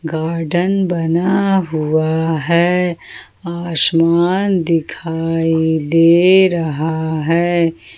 Garden बना हुआ है आसमान दिखाई दे रहा है।